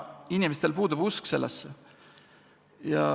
Inimestel puudub usk sellesse.